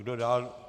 Kdo dál?